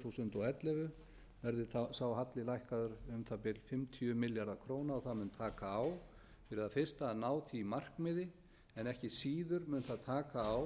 þúsund og ellefu verði sá halli lækkaður um um það bil fimmtíu milljarða króna og það mun taka á fyrir það fyrsta að ná því markmiði en ekki síður mun það taka á